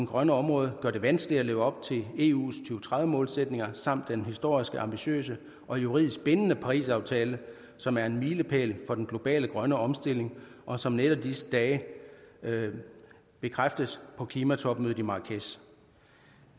grønne område gør det vanskeligt at leve op til eus og tredive målsætninger samt den historiske ambitiøse og juridisk bindende parisaftale som er en milepæl for den globale grønne omstilling og som netop i disse dage bekræftes på klimatopmødet i marrakech